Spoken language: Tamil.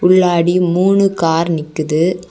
உள்ளாடி மூணு கார் நிக்கிது.